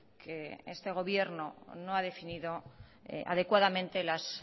que este gobierno no ha definido adecuadamente las